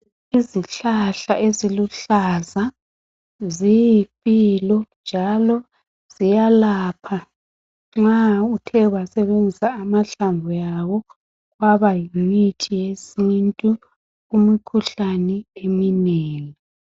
Izihlahla eziluhlaza ziyimpilo njalo ziyalapha nxa uthe wasebenzisa amahlamvu yawo kwaba yimithi yesintu, umkhuhlane eminengi.